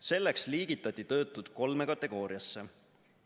Selleks liigitati töötud kolme kategooriasse.